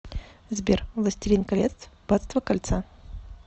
сбер властелин колец батство кольца